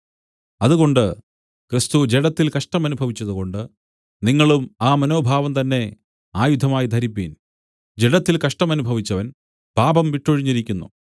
അതുകൊണ്ട് ക്രിസ്തു ജഡത്തിൽ കഷ്ടമനുഭവിച്ചതുകൊണ്ട് നിങ്ങളും ആ മനോഭാവം തന്നെ ആയുധമായി ധരിപ്പിൻ ജഡത്തിൽ കഷ്ടമനുഭവിച്ചവൻ പാപം വിട്ടൊഴിഞ്ഞിരിക്കുന്നു